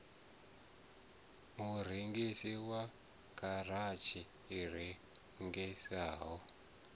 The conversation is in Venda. murengisi wa garatshi i rengisaho